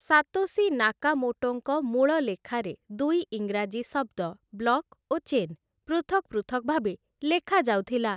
Satoshi ନାକାମୋଟୋଙ୍କ ମୂଳ ଲେଖାରେ ଦୁଇ ଇଂରାଜୀ ଶବ୍ଦ ବ୍ଲକ୍ ଓ ଚେନ୍ ପୃଥକ୍ ପୃଥକ୍ ଭାବେ ଲେଖାଯାଉଥିଲେ ।